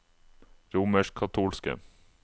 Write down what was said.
romerskkatolske